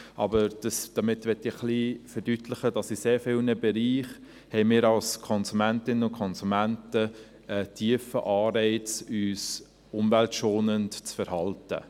Aber damit möchte ich ein wenig verdeutlichen, dass wir als Konsumentinnen und Konsumenten in sehr vielen Bereichen einen tiefen Anreiz haben, uns umweltschonend zu verhalten.